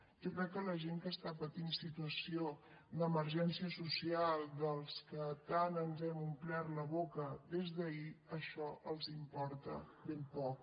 jo crec que a la gent que està patint situació d’emergència social dels que tant ens hem omplert la boca des d’ahir això els importa ben poc